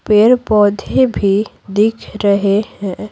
पेड़-पौधे भी दिख रहे हैं।